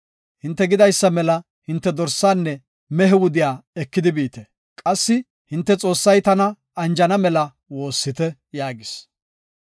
Hinte gidaysa mela hinte dorsaanne mehiya wudiya ekidi biite. Qassi hinte Xoossay tana anjana mela woossite” yaagis.